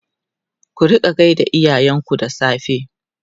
ku rinƙa gaida iyayen ku da safe!